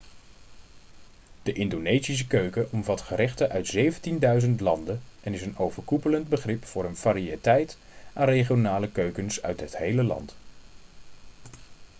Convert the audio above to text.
de indonesische keuken omvat gerechten uit 17.000 eilanden en is een overkoepelend begrip voor een variëteit aan regionale keukens uit het hele land